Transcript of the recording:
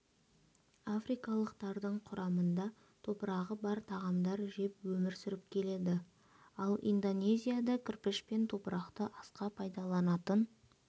африкалықтардың құрамында топырағы бар тағамдар жеп өмір сүріп келеді ал индонезияда кірпіш пен топырақты асқа пайдаланатын